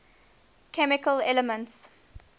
chemical elements